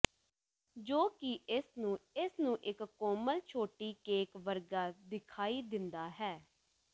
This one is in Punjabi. ਜੋ ਕਿ ਇਸ ਨੂੰ ਇਸ ਨੂੰ ਇੱਕ ਕੋਮਲ ਛੋਟੀ ਕੇਕ ਵਰਗਾ ਦਿਖਾਈ ਦਿੰਦਾ ਹੈ